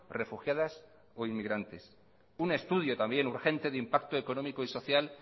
refugiadas o inmigrantes un estudio también urgente de impacto económico y social